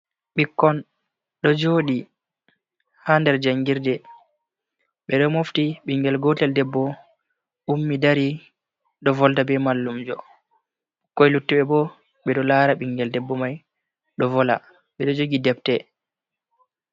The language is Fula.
Bikkon ɗo joɗi ha nɗer jangirɗe. Be ɗo mofti bingel gotel ɗebbo ummi ɗari do volɗa be mallumjo. Bikkoi luttibe bo be do lara bingel ɗebbo mai ɗo vola. Be ɗo jogi ɗebte.